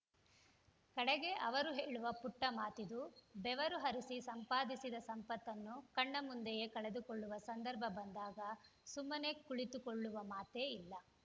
ಕಡೆಗೆ ಅವರು ಹೇಳುವ ಪುಟ್ಟಮಾತಿದು ಬೆವರು ಹರಿಸಿ ಸಂಪಾದಿಸಿದ ಸಂಪತ್ತನ್ನು ಕಣ್ಣ ಮುಂದೆಯೇ ಕಳೆದುಕೊಳ್ಳುವ ಸಂದರ್ಭ ಬಂದಾಗ ಸುಮ್ಮನೆ ಕುಳಿತುಕೊಳ್ಳುವ ಮಾತೇ ಇಲ್ಲ